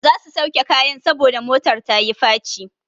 Za su sauke kayan saboda motar ta yi faci.